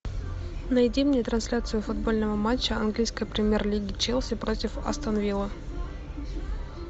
найди мне трансляцию футбольного матча английской премьер лиги челси против астон вилла